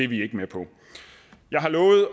vi ikke med på jeg har lovet